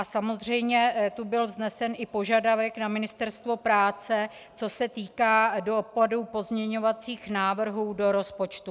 A samozřejmě tu byl vznesen i požadavek na Ministerstvo práce, co se týká dopadů pozměňovacích návrhů do rozpočtu.